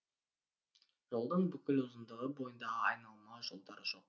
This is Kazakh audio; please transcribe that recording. жолдың бүкіл ұзындығы бойында айналма жолдар жоқ